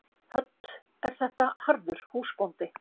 Hödd: Er þetta harður húsbóndi?